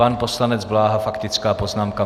Pan poslanec Bláha - faktická poznámka.